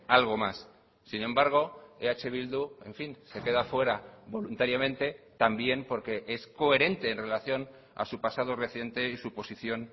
algo más sin embargo eh bildu en fin se queda fuera voluntariamente también porque es coherente en relación a su pasado reciente y suposición